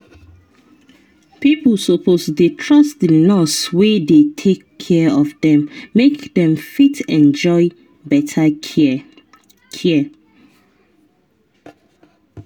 pipo suppose dey trust the nurse wey dey take care of them make them fit enjoy better care. care.